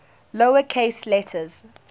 lower case letters